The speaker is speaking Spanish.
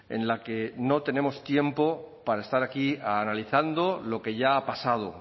en la que no tenemos tiempo para estar aquí analizando lo que ya ha pasado